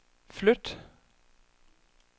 flyt